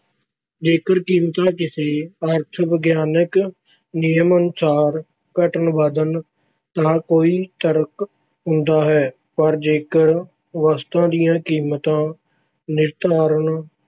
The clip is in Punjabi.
ਜੇਕਰ ਕੀਮਤਾਂ ਕਿਸੇ ਅਰਥ ਵਿਗਿਆਨਕ ਨਿਯਮ ਅਨੁਸਾਰ ਘਟਣ ਵਧਣ ਤਾਂ ਕੋਈ ਤਰਕ ਹੁੰਦਾ ਹੈ, ਪਰ ਜੇਕਰ ਵਸਤਾਂ ਦੀਆਂ ਕੀਮਤਾਂ ਨਿਰਧਾਰਤ